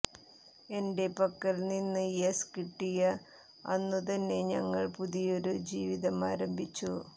എന്റെ പക്കൽ നിന്ന് യെസ് കിട്ടിയ അന്നു തന്നെ ഞങ്ങൾ പുതിയൊരു ജീവിതം ആരംഭിച്ചു